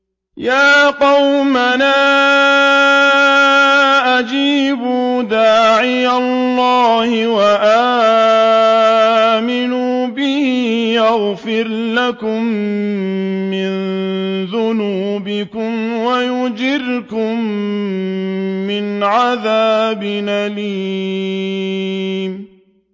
يَا قَوْمَنَا أَجِيبُوا دَاعِيَ اللَّهِ وَآمِنُوا بِهِ يَغْفِرْ لَكُم مِّن ذُنُوبِكُمْ وَيُجِرْكُم مِّنْ عَذَابٍ أَلِيمٍ